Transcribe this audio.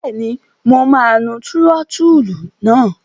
Bẹ́ẹ̀ni, mo máa nu túrótóòlù náà.